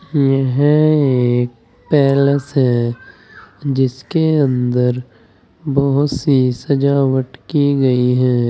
यह एक पैलेस है जिसके अंदर बहोत सी सजावट की गई है।